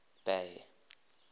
bay